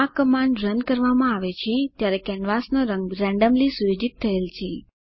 આ command run કરવામાં આવે છે ત્યારે કેનવાસનો રંગ રેન્ડમલી સુયોજિત થયેલ છે